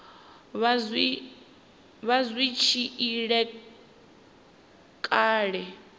vha zwi tshi ila kale